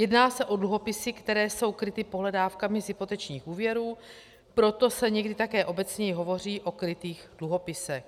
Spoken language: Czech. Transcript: Jedná se o dluhopisy, které jsou kryty pohledávkami z hypotečních úvěrů, proto se někdy také obecněji hovoří o krytých dluhopisech.